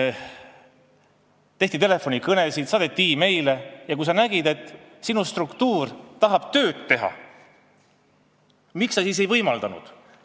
... kui tehti telefonikõnesid, saadeti meile ja kui sa nägid, et sinu struktuur tahab tööd teha, miks sa seda ei võimaldanud?